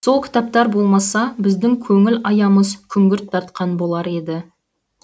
сол кітаптар болмаса біздің көңіл аямыз күңгірт тартқан болар еді